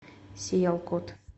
сиялкот